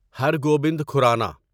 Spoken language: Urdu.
ہر گوبند کھورانا